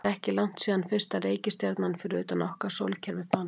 Það er ekki langt síðan fyrsta reikistjarnan fyrir utan okkar sólkerfi fannst.